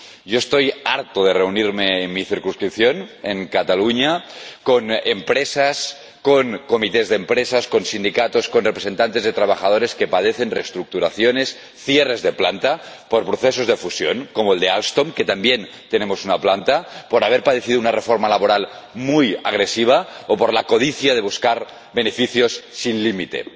Yo estoy harto de reunirme en mi circunscripción, en Cataluña, con empresas, con comités de empresas, con sindicatos, con representantes de trabajadores que padecen reestructuraciones, cierres de planta por procesos de fusión, como el de Alstom —también tenemos una planta—, por haber padecido una reforma laboral muy agresiva o por la codicia de buscar beneficios sin límite.